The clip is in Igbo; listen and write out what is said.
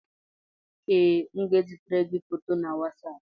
Ee, m ga-ezitere gị foto na Wasapụ